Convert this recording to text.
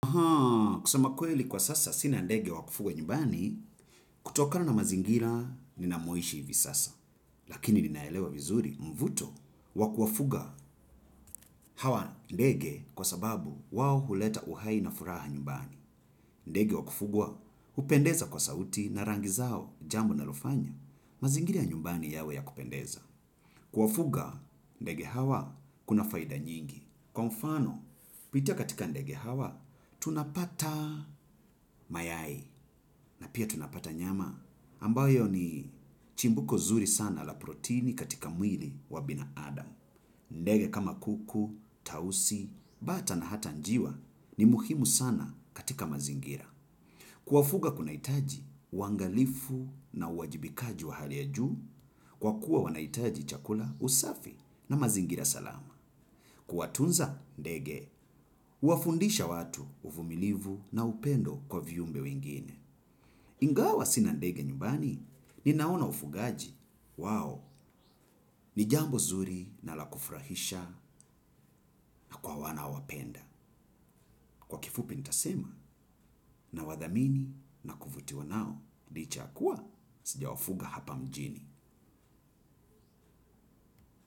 Haa, kusema kweli kwa sasa sina ndege wa kufugwa nyumbani, kutokana na mazingira ninamoishi hivi sasa. Lakini ninaelewa vizuri mvuto wa kuwafuga hawa ndege kwa sababu wao huleta uhai na furaha nyumbani. Ndege wa kufugwa hupendeza kwa sauti na rangi zao jambo linalofanya. Mazingira ya nyumbani yawe ya kupendeza. Kuwafuga ndege hawa kuna faida nyingi. Kwa mfano, pitia katika ndege hawa, tunapata mayai na pia tunapata nyama ambayo ni chimbuko zuri sana la proteini katika mwili wa binaadam. Ndege kama kuku, tausi, bata na hata njiwa ni muhimu sana katika mazingira. Kuwafuga kunaitaji, uwangalifu na uwajibikaji wa hali ya juu kwa kuwa wanaitaji chakula usafi na mazingira salama. Kwatunza ndege, uwafundisha watu uvumilivu na upendo kwa viumbe wengine. Ingawa sina ndege nyumbani, ninaona ufugaji. Wao, ni jambo zuri na la kufrahisha na kwa wanaowapenda. Kwa kifupi nitasema nawathamini na kuvutio nao. Licha ya kuwa, sijawafuga hapa mjini.